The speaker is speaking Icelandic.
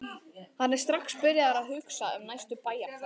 Hann er strax byrjaður að hugsa um næstu bæjarferð.